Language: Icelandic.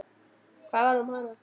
Hvað varð um hana?